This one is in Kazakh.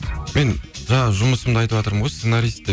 мен жаңағы жұмысымды айтватырмын ғой сценарист деп